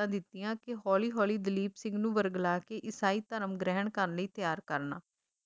ਹਿਦਾਇਤਾਂ ਦਿੱਤੀਆਂ ਕੇ ਹੋਲੀ ਹੋਲੀ ਦਲੀਪ ਸਿੰਘ ਨੂੰ ਵਰਗਲਾ ਕੇ ਈਸਾਈ ਧਰਮ ਗ੍ਰਹਿਣ ਕਰਨ ਲਈ ਤਿਆਰ ਕਰਨਾ,